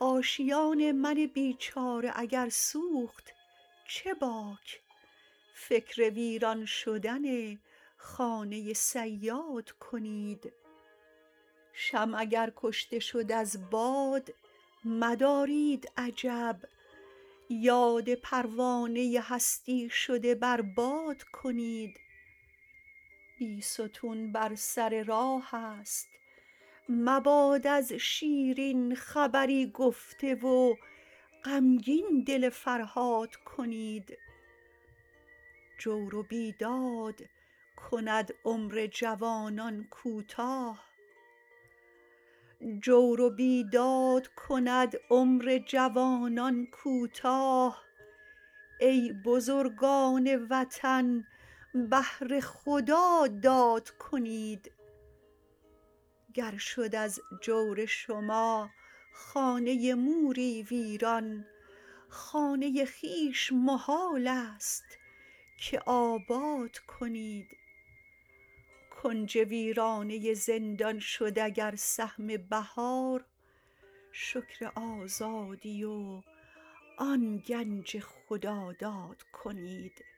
آشیان من بیچاره اگر سوخت چه باک فکر ویران شدن خانه صیاد کنید شمع اگر کشته شد از باد مدارید عجب یاد پروانه هستی شده بر باد کنید بیستون بر سر راه است مباد از شیرین خبری گفته و غمگین دل فرهاد کنید جور و بیداد کند عمر جوانان کوتاه ای بزرگان وطن بهر خدا داد کنید گر شد از جور شما خانه موری ویران خانه خویش محالست که آباد کنید کنج ویرانه زندان شد اگر سهم بهار شکر آزادی و آن گنج خداداد کنید